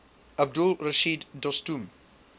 abdul rashid dostum